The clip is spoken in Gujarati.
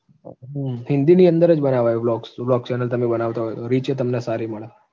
હમ હિન્દીની અંદર જ બરાબર blogs blog channel તમે બનાવતા હોય તો, reach એ તમને મળે